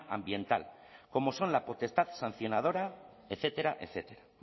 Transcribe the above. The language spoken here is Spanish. ambiental como son la potestad sancionadora etcétera etcétera